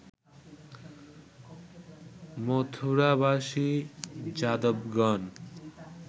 মথুরাবাসী যাদবগণ